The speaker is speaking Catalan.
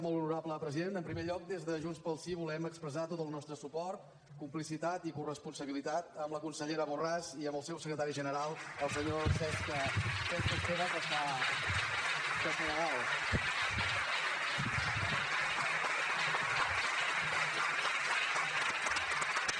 molt honorable president en primer lloc des de junts pel sí volem expressar tot el nostre suport complicitat i corresponsabilitat amb la consellera borràs i amb el seu secretari general el senyor cesc esteve que està allà dalt